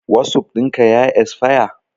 Wasup ɗin ka ya esfaya?